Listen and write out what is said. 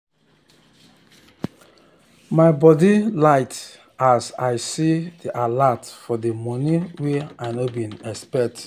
my body light as i see d alert for d money wen i no been expect